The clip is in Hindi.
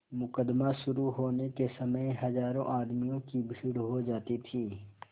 मुकदमा शुरु होने के समय हजारों आदमियों की भीड़ हो जाती थी